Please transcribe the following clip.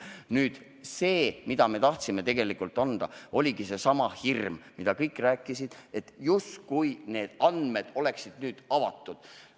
See probleem, millele me tegelikult tahtsime lahendust anda, puudutabki sedasama hirmu, millest kõik rääkisid, justkui oleksid need andmed nüüd avatud.